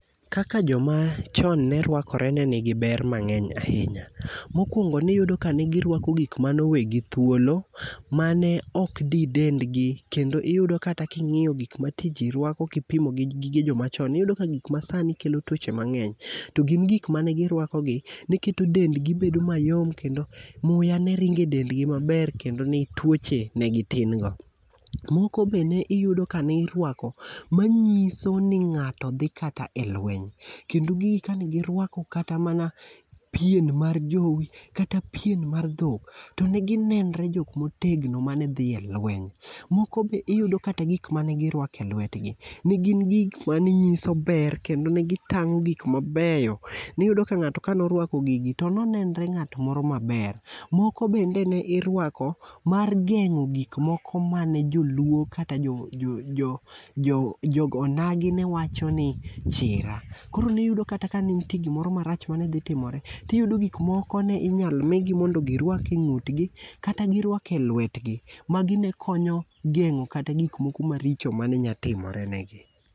Kaka jomachon ne rwakore ne nigi ber mang'eny ahinya. Mokwongo niyudo ka ne girwako gik mano wegi thuolo mane ok di dendgi kendo iyudo kata king'iyo gik mati ji rwako kipimogi gi jomachon ,niyudo ka gik masani kelo tuoche mang'eny. To gin gik mane girwakogi, ne keto dendgi bedo mayom kendo muya ne ringo e dendgi maber kendo ne tuoche ne gitin go. Moko be ne iyudo ka nirwako manyiso ni ng'ato dhi kata e lweny, kendo gigi kane girwako kata mana pien mar jowi kata pien mar dhokto ne ginenre jok motegno mane dhi e lweny. Moko be iyudo kata gik mane girwako elwetgi, ne gin gik mane nyiso ber kendo ne gitang'o gik mabeyo. Niyudo ka ng'ato kano rwako gigi to no nenre ng'at moro maber. Moko bende ne irwako mar geng'o gik moko mane joluo kata joonagi ne wachoni chira. Koro niyudo kata ka ne nitie gimoro marach mane dhi timore, tiyudo gik moko ne inyalo migi mondo girwak e ng'utgi kata girwak elwetgi. Magi ne konyo geng'o kata gik moko maricho mane nya timore negi.